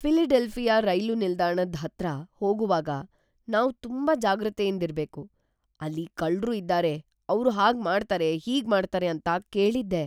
Philadelphia ರೈಲು ನಿಲ್ದಾಣದ್ ಹತ್ರ ಹೋಗೋವಾಗ್ ನಾವ್ ತುಂಬಾ ಜಾಗೃತೆಯಿಂದ್ ಇರ್ಬೇಕು; ಅಲ್ಲಿ ಕಳ್ರು ಇದ್ದಾರೆ ಅವ್ರು ಹಾಗ್ ಮಾಡ್ತಾರೆ ಹೀಗ್ ಮಾಡ್ತಾರೆ ಅಂತ ಕೇಳಿದ್ದೆ.